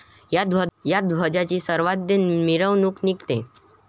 या ध्वजाची सवाद्य मिरवणूक निघते.